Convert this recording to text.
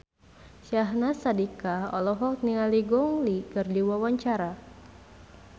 Syahnaz Sadiqah olohok ningali Gong Li keur diwawancara